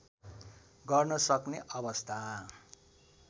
गर्न सक्ने अवस्था